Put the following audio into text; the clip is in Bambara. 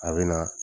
A bɛ na